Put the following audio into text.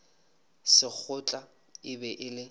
sekgotla e be e le